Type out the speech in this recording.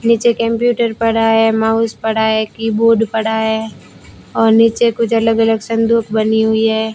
नीचे कंप्यूटर पड़ा है माउस पड़ा है कीबोर्ड पड़ा है और नीचे कुछ अलग अलग संदूक बनी हुई है।